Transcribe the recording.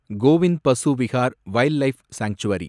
Kovind Pashu Vihar wildlife sanctuary